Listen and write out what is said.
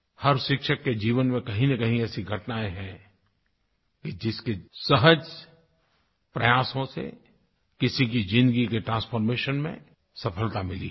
हर शिक्षक के जीवन में कहींनकहीं ऐसी घटनाएँ हैं कि जिसके सहज़ प्रयासों से किसी की ज़िन्दगी के ट्रांसफॉर्मेशन में सफ़लता मिली होगी